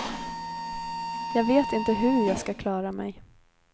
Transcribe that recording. Jag vet inte hur jag ska klara mig.